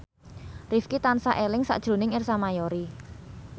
Rifqi tansah eling sakjroning Ersa Mayori